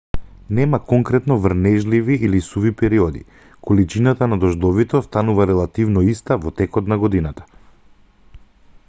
нема конкретно врнежливи или суви периоди количината на дождовите останува релативно иста во текот на годината